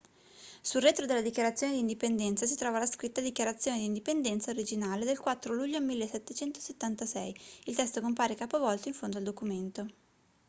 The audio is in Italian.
sul retro della dichiarazione di indipendenza si trova la scritta dichiarazione di indipendenza originale del 4 luglio 1776 il testo compare capovolto in fondo al documento